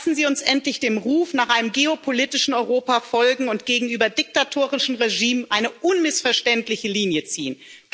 Lassen Sie uns endlich dem Ruf nach einem geopolitischen Europa folgen und gegenüber diktatorischen Regimes eine unmissverständliche Linie ziehen!